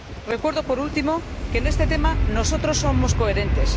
Recuerdo, por último, que en este tema nosotros somos coherentes.